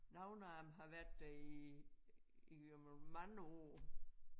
Nogle af dem har været der i i mange år